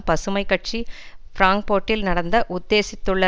பசுமை கட்சி பிராங்போர்ட்டில் நடத்த உத்தேசித்துள்ள